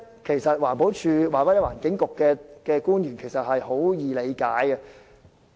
其實，環境保護署或環境局官員應很容易理解全局觀。